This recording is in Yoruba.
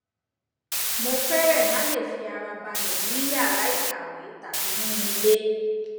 mo fẹrẹẹ má le fi ara balẹ ní yàrá ìkàwé tàbí ní ilé